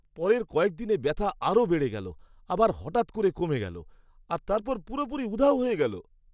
পরের কয়েক দিনে ব্যথা আরও বেড়ে গেল, আবার হঠাৎ করে কমে গেল, আর তারপর পুরোপুরি উধাও হয়ে গেল।